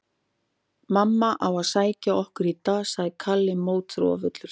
Mamma á að sækja okkur í dag, sagði Kalli mótþróafullur.